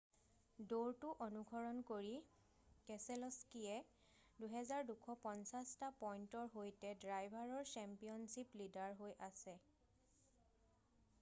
দৌৰটো অনুসৰণ কৰি কেছেল'স্কিয়ে 2,250 টা পইন্টৰ সৈতে ড্ৰাইভাৰৰ চেম্পিয়নছিপ লীডাৰ হৈ আছে৷